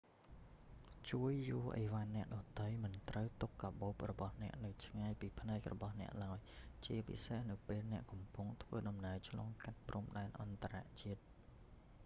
ជួយយួរឥវ៉ាន់អ្នកដទៃ មិនត្រូវទុកកាប៉ូបរបស់អ្នកនៅឆ្ងាយពីភ្នែករបស់អ្នកឡើយ ជាពិសេសនៅពេលអ្នកកំពុងធ្វើដំណើរឆ្លងកាត់ព្រំដែនអន្តរជាតិ